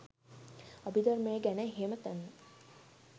අභිධර්මය ගැන එහෙම දන්න